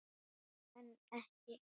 En ekki.